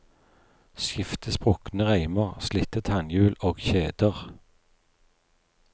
Skifte sprukne reimer, slitte tannhjul og kjeder.